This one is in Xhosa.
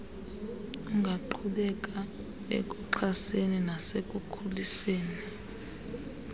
ungaqhubeka ekuxhaseni nasekukhuliseni